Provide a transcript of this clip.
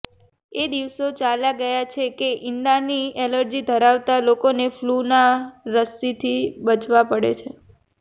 એ દિવસો ચાલ્યા ગયા છે કે ઈંડાની એલર્જી ધરાવતા લોકોને ફલૂના રસ્સીથી બચવા પડે છે